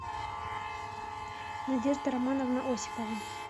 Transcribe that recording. надежда романовна осипова